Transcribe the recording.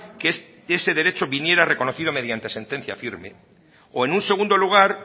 que ese derecho viniera reconocido mediante sentencia firme o en un segundo lugar